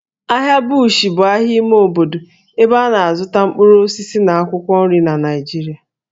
Ahịa Bush bụ ahịa ime obodo ebe a na-azụta mkpụrụ osisi na akwụkwọ nri na Naịjirịa